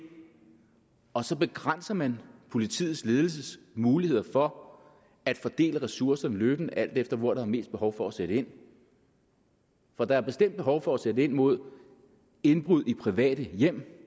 og så begrænser man politiets ledelses muligheder for at fordele ressourcerne løbende alt efter hvor der er mest behov for at sætte ind for der er bestemt behov for at sætte ind mod indbrud i private hjem